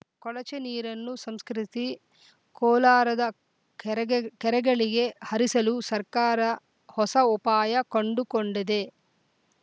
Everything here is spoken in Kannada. ಕೊಳಚೆ ನೀರನ್ನು ಸಂಸ್ಕರಿಸಿ ಕೋಲಾರದ ಕೆರೆಗ ಕೆರೆಗಳಿಗೆ ಹರಿಸಲು ಸರ್ಕಾರ ಹೊಸ ವಪಾಯ ಕಂಡುಕೊಂಡಿದೆ